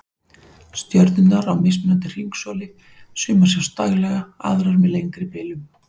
Stjörnurnar á mismunandi hringsóli, sumar sjást daglega, aðrar með lengri bilum